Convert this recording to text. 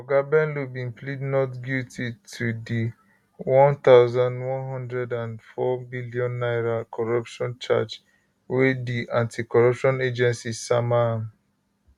oga bello bin plead not guilty to di 1104 billion naira corruption charge wey di anticorruption agency sama am